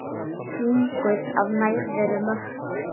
Þvinguð af nærveru Mörtu.